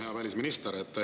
Hea välisminister!